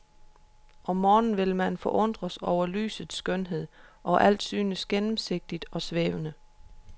Om morgenen vil man forundres over lysets skønhed, og alt synes gennemsigtigt og svævende.